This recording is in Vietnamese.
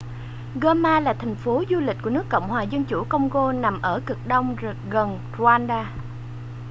goma là thành phố du lịch của nước cộng hòa dân chủ công-gô nằm ở cực đông gần rwanda